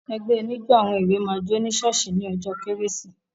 Ẹgbẹ́ oníjó àwọn èwé máa jó ní ṣọ́ọ́ṣì ní ọjọ́ kérésì.